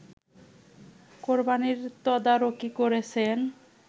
কোরবানির তদারকি করছেন